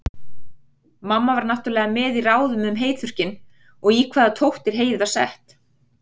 Mamma var náttúrlega með í ráðum um heyþurrkinn, og í hvaða tóttir heyið var sett.